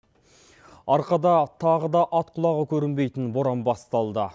арқада тағы да ат құлағы көрінбейтін боран басталды